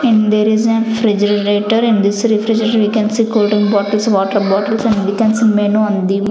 in there is an refrigerator in this refrigerator we can see cold drink bottles water bottles and we can see menu on the --